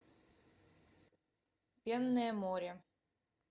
пенное море